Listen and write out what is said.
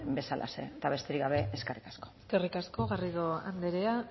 bezalaxe eta besterik gabe eskerrik asko eskerrik asko garrido anderea